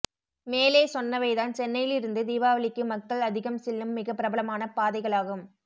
மேலே சொன்னவைதான் சென்னையிலிருந்து தீபாவளிக்கு மக்கள் அதிகம் செல்லும் மிக பிரபலமான பாதைகளாகும்